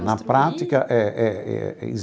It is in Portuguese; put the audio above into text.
Na prática eh eh eh.